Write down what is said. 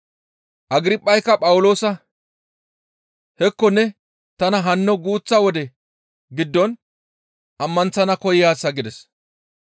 Agirphayka Phawuloosa, «Hekko ne tana hanno guuththa wode giddon ammanththana koyaasa» gides.